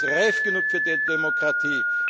Aber Russland ist reif genug für die Demokratie.